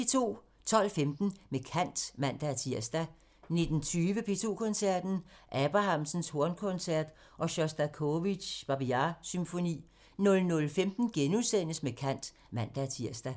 12:15: Med kant (man-tir) 19:20: P2 Koncerten – Abrahamsens hornkoncert og Sjostakovitjs Babi Yar-symfoni 00:15: Med kant *(man-tir)